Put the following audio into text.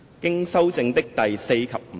經修正的第4及5條。